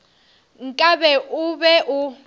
nka be o be o